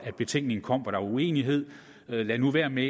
betænkningen kom der var uenighed lad nu være med